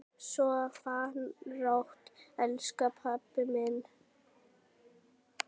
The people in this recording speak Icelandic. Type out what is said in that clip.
Sofðu rótt, elsku pabbi minn.